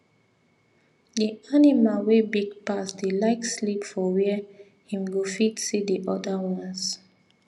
the animal wey big pass dey like sleep for where him go fit see the other ones